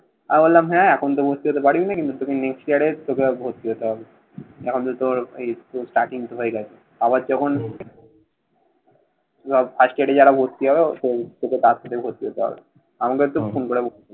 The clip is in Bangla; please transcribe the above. আমি বললাম, হ্যাঁ, এখন তো ভর্তি হতে পারবি না। কিন্তু তোকে next year এর তোকে ভর্তি হতে হবে। এখন তো তোর ওই starting তো হয়ে গেছে। আবার যখন সব first year এ যারা ভর্তি হবে, তোকে first এ ভর্তি হতে হবে। আমাকে একটু ফোন করে